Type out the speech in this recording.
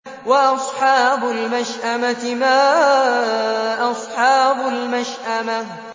وَأَصْحَابُ الْمَشْأَمَةِ مَا أَصْحَابُ الْمَشْأَمَةِ